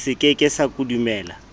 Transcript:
se ke ke sa kodumela